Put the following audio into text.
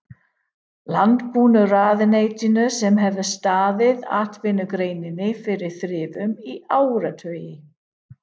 Landbúnaðarráðuneytinu sem hefur staðið atvinnugreininni fyrir þrifum í áratugi!